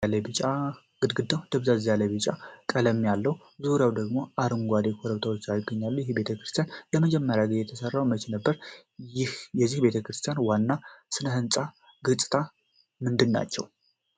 ግድግዳው ደብዘዝ ያለ ቢጫና ቀይ ቀለም አለው፣ ዙሪያውን ደግሞ አረንጓዴ ኮረብታዎች ይገኛሉ። ይህ ቤተክርስቲያን ለመጀመሪያ ጊዜ የተሠራው መቼ ነበር? የዚህ ቤተክርስቲያን ዋና የሥነ ሕንፃ ገፅታዎች ምንድናቸው?